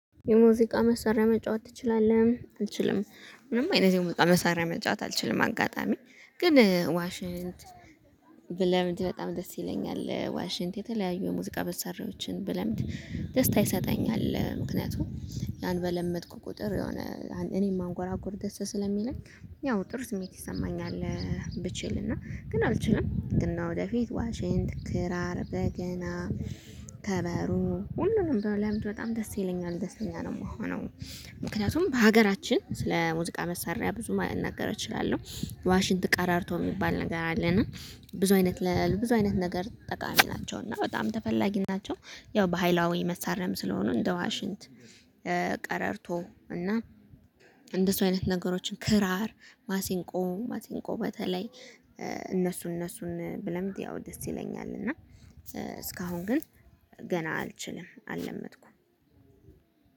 የሙዚቃ መሳሪያ መጫወት ትችላለህ አልችልም ምንም አይነት የሙዚቃ መሳሪያ መጫወት አልችልም አጋጣሚ ግን ዋሽንት ብለምድ በጣም ደስ ይለኛል ዋሽንት የተለያዩ የሙዚቃ መሳሪዬዎችን ብለምድ ደስታ ይሰጠኛል ምክንያቱም ያን በለመድኩ ቁጥር የሆነ እኔም ማንጎራጎር ደስ ስለሚለኝ ያው ጥሩ ስሜት ይሰማኛል። ብችል እና ግን አልችልም ግን ለወደፊት ዋሽንት ክራር በገና ከበሮ ሁሉንም በለምድ በጣም ደስ ይለኛል ደስተኛ ነው። እምሆነው ምክንያቱም በሀገራችን ስለ ሙዚቃ መሳሪያ ብዙ መናገር አ እችላለሁ። የዋሽንት ቀረርቶ የሚባል ነገር አለና ብዙ አይነት ብዙ አይነት ነገር ጠቃሚ ናቸው እና በጣም ተፈላጊም ናቸው። ያው ባሃላዊ መሰሪያም ስለሆኑ እንደ ዋሽንት ቀረርቶ እና እንደሱ አይነት ነገሮችን ክራር ማሲንቆ ማሲንቆ በተለይ እነሱ እነሱን ብለምድ ያው ደስ ይለኛል እና እስካሁን ግን ገና አልችልም አለመድኩም